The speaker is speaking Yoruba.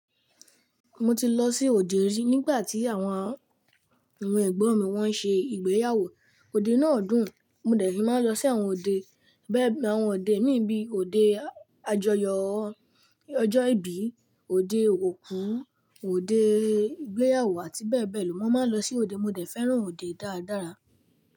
Mo ti lọ sí òde rí nígbà tí àwọn, àwọn ẹ̀gbọ́n mi wọ́n ń ṣe ìgbéyàwó. Òde náà dùn. Mo dẹ̀ í máa ń lọ sí àwọn òde bẹ́ẹ̀, àwọn òde míì bíi òde àjoyọ̀ ọjọ́ ìbí, òde òkú, òde ìgbéyàwó àti bẹ́ẹ̀ bẹ́ẹ̀ lọ. Mo máa ń lọ sí òde, mo dẹ̀ fẹ́ràn òde dáradára.